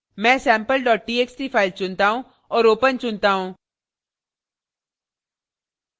मैं sample txt file चुनता choose औऱ open चुनता choose